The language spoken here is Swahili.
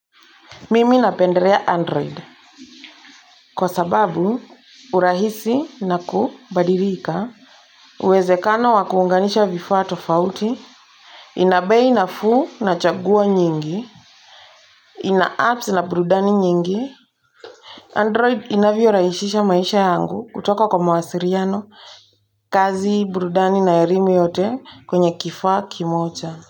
Mimi napendelea android. Kwa sababu, urahisi na kubadilika, uwezekano wakuunganisha vifaa tofauti. Inabei na fuu na chagua nyingi. Ina apps na burudani nyingi. Android inavyo rahisisha maisha yangu kutoka kwa mawasiliano. Kazi, burudani na elimu yote kwenye kifaa kimoja.